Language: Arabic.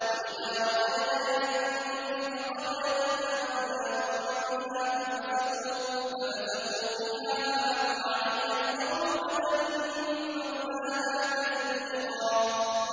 وَإِذَا أَرَدْنَا أَن نُّهْلِكَ قَرْيَةً أَمَرْنَا مُتْرَفِيهَا فَفَسَقُوا فِيهَا فَحَقَّ عَلَيْهَا الْقَوْلُ فَدَمَّرْنَاهَا تَدْمِيرًا